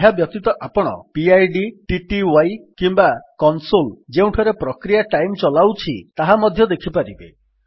ଏହାବ୍ୟତୀତ ଆପଣ PID TTY କିମ୍ୱା କନ୍ସୋଲ୍ ଯେଉଁଠାରେ ପ୍ରକ୍ରିୟା ଟାଇମ୍ ଚଲାଉଛି ତାହା ମଧ୍ୟ ଦେଖିପାରିବେ